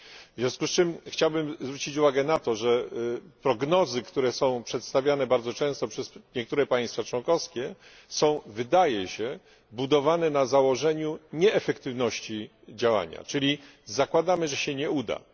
w związku zczym chciałbym zauważyć, że prognozy przedstawiane bardzo często przez niektóre państwa członkowskie są wydaje się budowane na założeniu nieefektywności działania, czyli zakładamy, że się nie uda.